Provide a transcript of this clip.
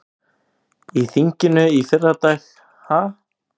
Í þinginu í fyrradag ha?